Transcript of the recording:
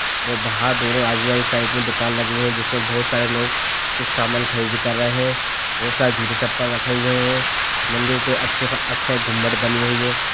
और बाहर दोनों आजू-बाजू साइड में दुकान लगी हुई है जिसमें बहुत सारे लोग कुछ समान खरीदी कर रहे हैं बहुत सारे जूते चप्पल रखे हुए हैं मंदिर अच्छे-अच्छे गुम्बज बने हुए हैं।